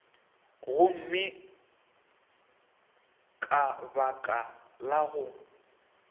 gomme ka baka la go